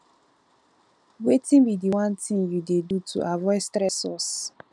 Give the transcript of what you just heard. wetin be di one thing you dey do to avoid stressors